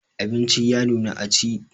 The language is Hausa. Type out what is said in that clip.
Abinci ya nuna a ci.